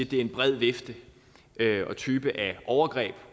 det er en bred vifte og type af overgreb